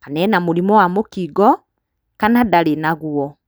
kana ena mũrimũ wa mũkingo, kana ndarĩ naguo.